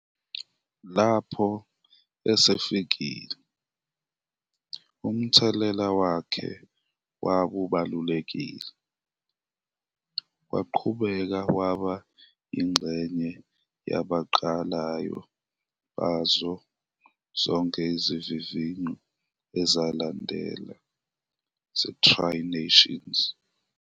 Lapho esefikile, umthelela wakhe wawubalulekile, waqhubeka waba yingxenye yabaqalayo bazo zonke izivivinyo ezalandela ze-Tri-nations.